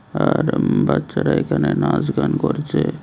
আর বাচ্চারা এখানে নাচ গান করছে।